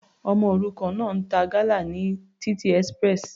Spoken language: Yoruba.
Ọmọ òrukàn náà ń ta gala ní títì express.